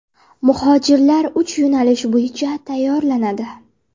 Muhojirlar uch yo‘nalish bo‘yicha tayyorlanadi.